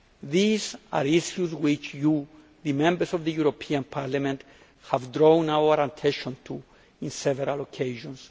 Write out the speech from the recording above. These are issues which you, the Members of the European Parliament, have drawn our attention to on several occasions.